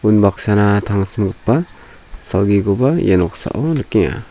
unbaksana tangsimgipa salgikoba ia noksao nikenga.